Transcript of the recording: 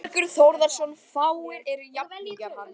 Þórbergur Þórðarson, fáir eru jafningjar hans.